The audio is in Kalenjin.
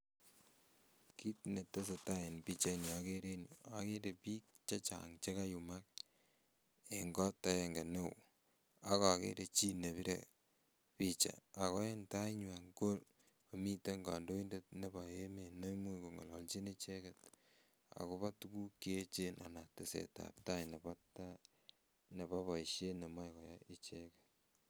Kiit netesetaa en pichaini okeree en yuu ko akeree biik chechang chekayumak en kot akeng'e ak okere chii nepire picha ak ko en tainywan ko miten kondoitet nebo emet neimuch kong'ololchi icheket akobo tukuk cheechen anan tesetab taai nebo boishet nemoe koyai icheket.